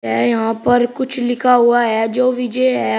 है यहां पर कुछ लिखा हुआ है जो विजय है।